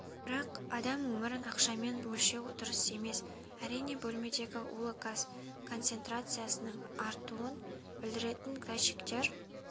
бірақ адам өмірін ақшамен өлшеу дұрыс емес әрине бөлмедегі улы газ концентрациясының артуын білдіретін датчиктер